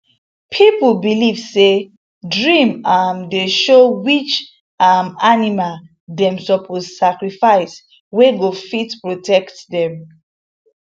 people believe say dream um dey show which um animal dem suppose sacrifice wey go fit protect them